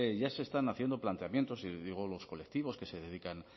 ya se están haciendo planteamientos y digo los colectivos que se dedican